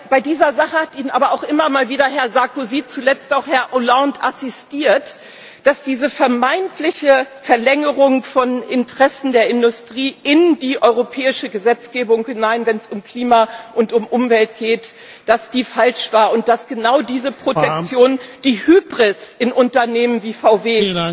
bei dieser Sache hat Ihnen aber auch immer mal wieder Herr Sarkozy, zuletzt auch Herr Hollande, assisiert dass diese vermeintliche Verlängerung von Interessen der Industrie in die europäische Gesetzgebung hinein, wenn es um Klima und um Umwelt geht, falsch war und dass genau diese Protektion die Hybris in Unternehmen wie VW